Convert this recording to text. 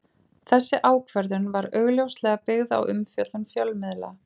Þessi ákvörðun var augljóslega byggð á umfjöllun fjölmiðla.